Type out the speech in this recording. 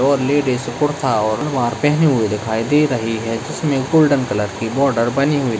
और लेडीज कुर्ता और सलवार पहने हुए दिखाई दे रही है जिसमें गोल्डन कलर की बॉर्डर बनी हुई --